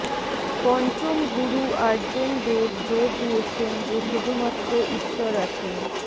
পঞ্চম গুরু আর্জেন দেব জোর দিয়েছেন যে শুধুমাত্র ঈশ্বর আছেন